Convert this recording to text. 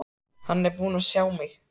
Hann er búinn að sjá mig!